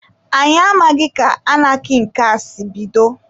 Anyị amaghị ka anarkị nke a si bido.